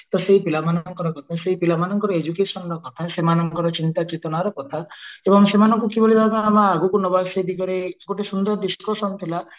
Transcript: ତ ସେଇ ପିଲାମାନଙ୍କର ମଧ୍ୟ ସେଇ ପିଲାମାନଙ୍କର education ରା କଥା ପିଲା ମାନଙ୍କର ଚିନ୍ତା ଚେତନାର କଥା ତ ସେମାନଙ୍କୁ କିଭଳି ଭାବେ ଆମେ ଆଗକୁ ନବା ସେ ଦିଗରେ ଗୋଟେ ସୁନ୍ଦର discussion ଥିଲା